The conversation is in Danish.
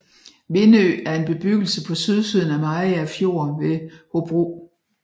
Vindø er en bebyggelse på sydsiden af Mariager Fjord ved Hobro